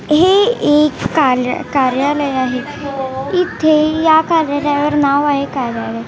हे एक कालर कार्यालय आहे इथे या कार्यालयावर नाव आहे कार्यालय.